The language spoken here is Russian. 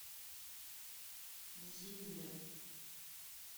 зиндер